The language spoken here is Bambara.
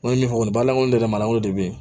N ko min fɔ nin baara in ne yɛrɛ ma lankolon de bɛ yen